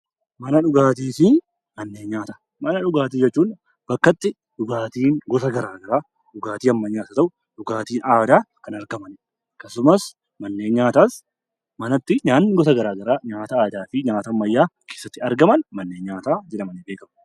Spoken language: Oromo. Mana dhugaatii jechuun bakka itti dhugaatiin gosa garaagaraa dhugaatii ammayyaas haa ta'u dhugaatiin aadaa kan argamanidha. Akkasumas manneen nyaataasmana itti nyaanni garaagaraa nyaata aadaa fi garaagaraa keessatti argaman manneen nyaataa jedhamanii beekamu.